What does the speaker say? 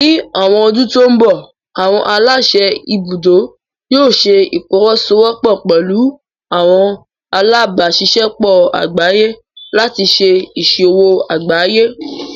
Ní àwọn ọdún tó ń bọ̀, àwọn aláṣẹ ibùdó yóò ṣẹ ìfọwọ́sọwọ́pọ̀ pẹlú àwọn alábáṣiṣẹ́pọ̀ àgbáyé láti ṣé ìṣòwò àgbáyé